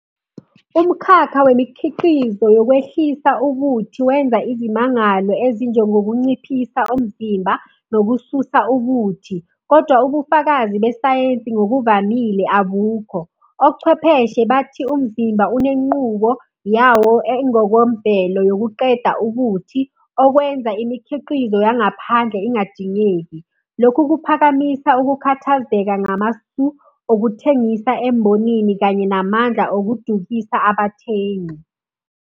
Umukhakha wemikhiqizo yokwehlisa ubuthi wenza izimangalo ezinjengokunciphisa umzimba nokususa ubuthi, kodwa ubufakazi besayensi ngokuvamile abukho. Ochwepheshe bathi umzimba unenqubo yawo engokomvelo yokuqeda ubuthi, okwenza imikhiqizo yangaphandle ingadingeki. Lokhu kuphakamisa ukukhathazeka ngamasu okuthengisa embonini kanye namandla okudukisa abathengi.